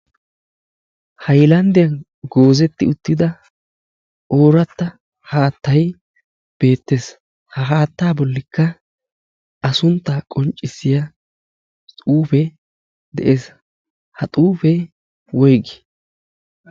hayllanddiya goozeti utida oorata haattay beettees. ha haatta bollikka a suntta qonccissiya xuufe de'ees. ha xuufe woyggi?